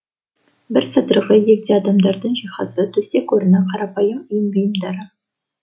бір сыдырғы егде адамдардың жиһазы төсек орыны қарапайым үй бұйымдары